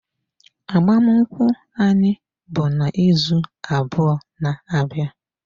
Agbamakwụkwọ anyị bụ n'izu abụọ na-abịa.